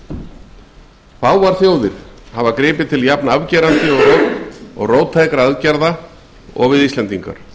af hlýst fáar þjóðir hafa gripið til jafnafgerandi og róttækra aðgerða og íslendingar